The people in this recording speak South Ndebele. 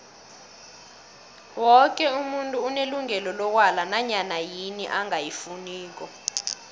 woke umuntu unelungelo lokwala nanyana yini angayifuniko